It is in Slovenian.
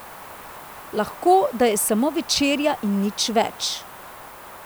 Lahko, da je samo večerja in nič več.